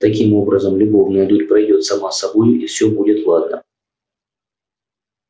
таким образом любовная дурь пройдёт сама собою и все будет ладно